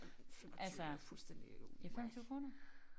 Ej men 25 er fuldstændig wack